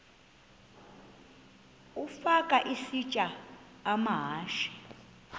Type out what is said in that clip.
ukafa isitya amahashe